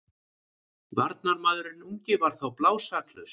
Varnarmaðurinn ungi var þó blásaklaus.